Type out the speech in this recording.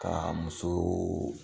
Kaa muso